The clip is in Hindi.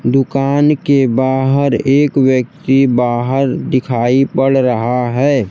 दुकान के बाहर एक व्यक्ति बाहर दिखाई पड़ रहा है।